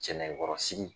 Cɛ nɛgɛkɔrɔsigi